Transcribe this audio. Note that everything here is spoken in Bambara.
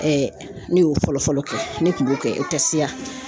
ne y'o fɔlɔfɔlɔ kɛ ne kun b'o kɛ